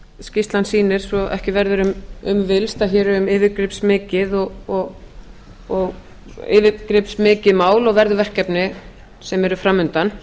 skýrslan sýnir svo ekki verður um villst að hér er um yfirgripsmikið mál og verðug verkefni sem eru framundan